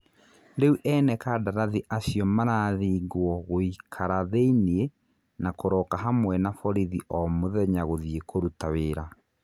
Rĩu ene kandarathi acio marathĩngwo gũĩkara (thĩiniĩ) na kũroka hamwe na borithi o mũthenya gũthiĩ kũruta wĩra.